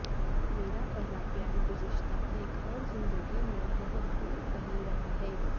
میرا پہلا پیار گزشتہ ایک اور زندگی میں بہت دور کہیں رہا ہے